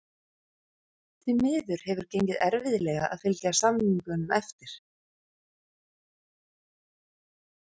Því miður hefur gengið erfiðlega að fylgja samningum eftir.